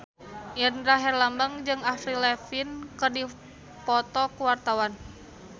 Indra Herlambang jeung Avril Lavigne keur dipoto ku wartawan